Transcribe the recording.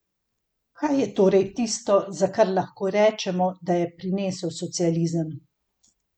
Kaj je torej tisto, za kar lahko rečemo, da je prinesel socializem?